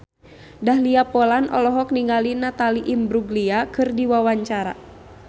Dahlia Poland olohok ningali Natalie Imbruglia keur diwawancara